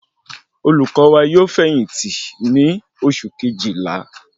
Olùkó wa yóò fẹ̀yìntì ní oṣù Kejìlá